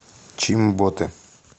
чимботе